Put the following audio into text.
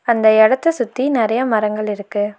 அந்த எடத்த சுத்தி நெறைய மரங்கள் இருக்கு.